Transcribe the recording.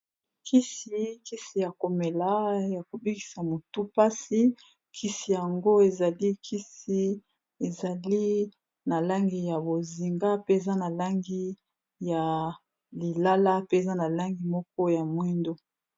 Kisi kisi ya komela ya kobikisa motu mpasi kisi yango ezali kisi ezali na langi ya bozinga mpe eza na langi ya lilala mpeza na langi moko ya mwindu.